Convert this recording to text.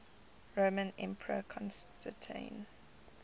roman emperor constantine